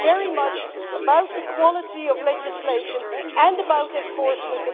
This is very much about the quality of legislation and about enforcement.